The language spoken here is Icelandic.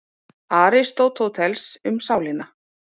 Aristóteles, Um sálina.